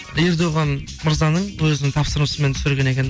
ердоған мырзаның өзінің тапсырмасымен түсірген екен